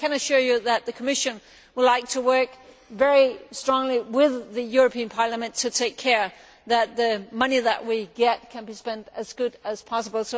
I can assure you that the Commission would like to work very closely with the European Parliament to ensure that the money that we get is spent as well as possible.